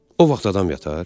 O vaxt adam yatar?